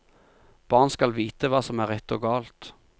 Barn skal vite hva som er rett og galt.